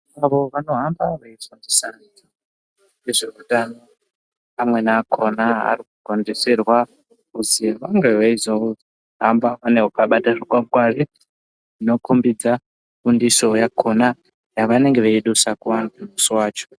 Avo vanohamba veitarisa ngezveutano, amweni akhona anokugondeserwa kuti vange veizohamba vakabata zvikwangwari zvinokombidza fundiso yakhona yavanenge veidusa kuvantu musi wacho.